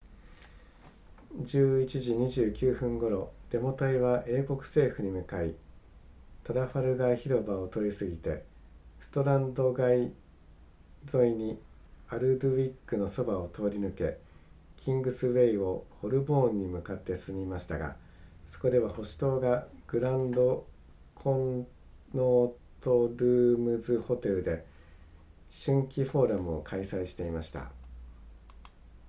11時29分頃デモ隊は英国政府に向かいトラファルガー広場を通り過ぎてストランド街沿いにアルドウィックのそばを通り抜けキングスウェイをホルボーンに向かって進みましたがそこでは保守党がグランドコンノートルームズホテルで春季フォーラムを開催していました